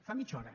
fa mitja hora